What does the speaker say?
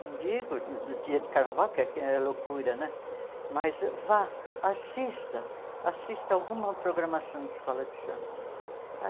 Não digo no no dia de carnaval, que é que é loucura né, mas vá, assista, assista alguma programação de escola de samba.